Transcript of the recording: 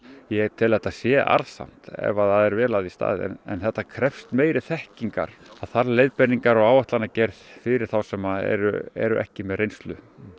ég tel að þetta sé arðsamt ef það er vel að því staðið en þetta krefst meiri þekkingar það þarf leiðbeiningar og áætlanagerð fyrir þá sem eru eru ekki með reynslu